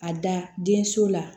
A da den so la